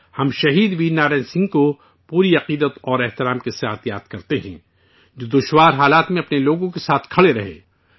ہم شہید ویر نارائن سنگھ کو پوری عقیدت کے ساتھ یاد کرتے ہیں، جو مشکل حالات میں اپنے لوگوں کے ساتھ کھڑے رہے